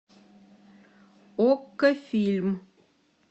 окко фильм